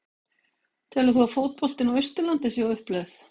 Telur þú að fótboltinn á Austurlandi sé á uppleið?